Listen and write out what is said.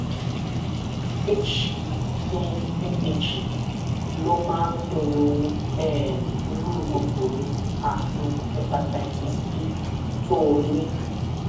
hbeag ló máa ń pinnu um irú kòkòrò ààrùn hepatitis b tó o ní